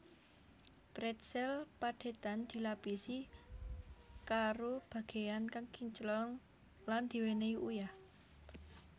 Pretzel padhetan dilapisi karo bagéyan kang kinclong lan diwènèhi uyah